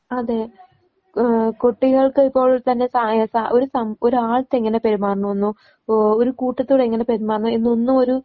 അതെ ആഹ് കുട്ടികൾക്ക് ഇപ്പോൾ തന്നെ സായ സാ ഒരു സം ഒരാൾടത്ത് എങ്ങനെ പെരുമാറണന്നോ ഓ ഒരു കൂട്ടത്തോട് എങ്ങനെ പെരുമാറണം എന്നൊന്നും ഒരു